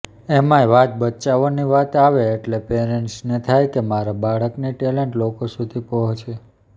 એમાંય વાત બચ્ચાઓની વાત આવે એટલે પેરન્ટ્સને થાય કે મારા બાળકની ટેલન્ટ લોકો સુધી પહોંચે